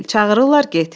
Çağırırlar get.